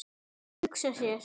Hugsa sér!